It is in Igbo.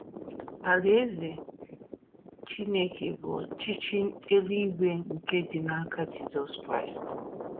Alaeze Chineke bụ ọchịchị eluigwe nke dị n’aka Jizọs Kraịst.